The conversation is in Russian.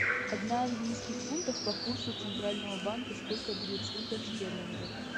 одна английских фунтов по курсу центрального банка сколько будет фунтов стерлингов